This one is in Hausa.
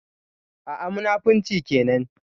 A'a, munafunci kenan.